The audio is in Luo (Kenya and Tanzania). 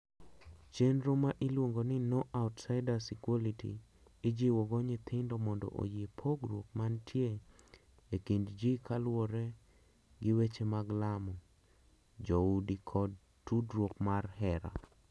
Chenro ma iluongo ni "No Outsiders Equality" ijiwo go nyithindo mondo oyie pogruok mantie e kindji kaluwore gi weche mag lamo. Joudi kod tudruok mar hera.